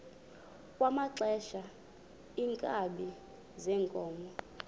kwaxhelwa iinkabi zeenkomo